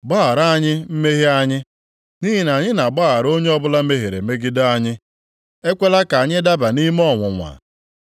Gbaghara anyị mmehie anyị, nʼihi na anyị na-agbaghara onye ọbụla mehiere megide anyị. Ekwela ka anyị daba nʼime ọnwụnwa.’ ”